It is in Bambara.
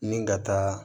Ni ka taa